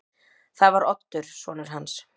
Það var Oddur sonur hans.